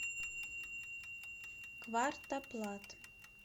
квартоплат